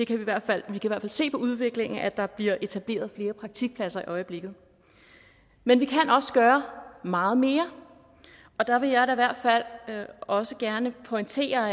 kan i hvert fald se på udviklingen at der bliver etableret flere praktikpladser i øjeblikket men vi kan også gøre meget mere og der vil jeg da i hvert fald også gerne pointere